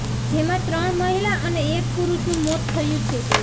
જેમાં ત્રણ મહિલા અને એક પુરૂષનું મોત થયું છે